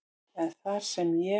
en þar sem ég